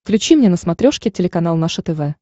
включи мне на смотрешке телеканал наше тв